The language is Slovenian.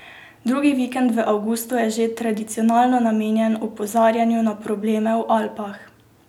Drugi vikend v avgustu je že tradicionalno namenjen opozarjanju na probleme v Alpah.